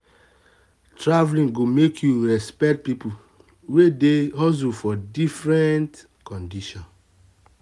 travel go make you respect people wey dey hustle for different condition.